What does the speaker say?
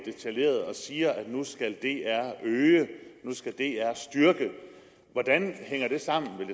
og siger at dr nu skal øge nu skal dr styrke hvordan hænger det sammen vil